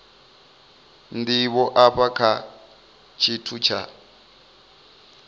ndivho afha kha tshithu tsha